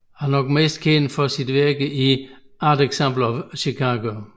Han er nok bedst kendt for sit virke i Art Ensemble of Chicago